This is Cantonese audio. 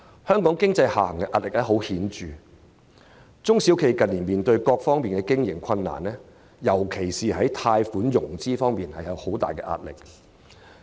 香港經濟的下行壓力顯著，中小企近年面對各方面的經營困難，在貸款融資方面的壓力尤為巨大。